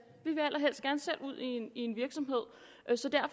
ud i en virksomhed